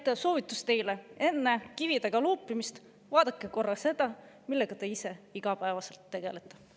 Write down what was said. Nii et soovitus teile: enne kividega loopimist vaadake korra seda, millega te ise igapäevaselt tegelete.